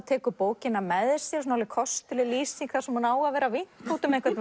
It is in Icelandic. tekur bókina með sér kostuleg lýsing þar sem hún á að vera að vinka út um einhvern